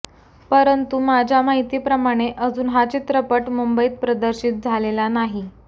परंतु माझ्या माहिती प्रमाणे अजून हा चित्रपट मुंबईत प्रदर्शित झालेला नाही